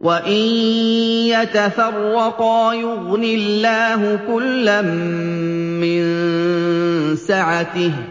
وَإِن يَتَفَرَّقَا يُغْنِ اللَّهُ كُلًّا مِّن سَعَتِهِ ۚ